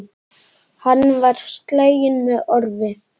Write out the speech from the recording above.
Hann var sleginn með orfi.